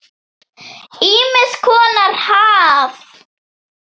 Ýmiss konar haf.